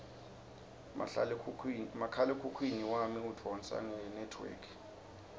mahlalekhukhwini wami udvonsa ngenetwork